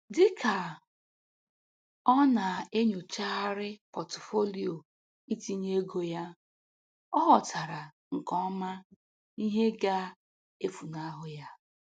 Dịka ọ na-enyochagharị pọtufolio itinye ego ya, ọ ghọtara nke ọma ihe ga-efunahu ya